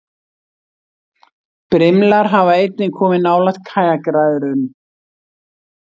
Brimlar hafa einnig komið nálægt kajakræðurum.